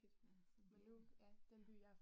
Ja, det er, ja